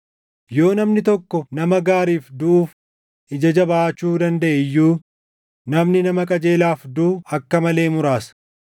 Yoo namni tokko nama gaariif duʼuuf ija jabaachuu dandaʼe iyyuu, namni nama qajeelaaf duʼu akka malee muraasa.